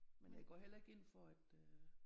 Men jeg går heller ikke ind for at øh